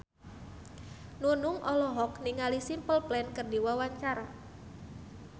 Nunung olohok ningali Simple Plan keur diwawancara